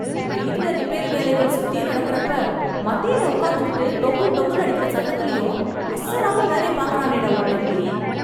வீட்ல ரிப்பேர் வேலைகள் சுத்தியும் நடக்கறப்ப, மத்தியில உக்காந்துகிட்டு, டொங்கு டொங்குன்னு அடிக்கற சத்தத்துலயும், அசராம வேலைய பாக்கறானேடா உன் தம்பி...